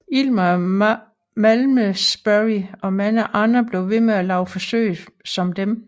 Eilmer af Malmesbury og mange andre blev ved med at lave forsøg som dem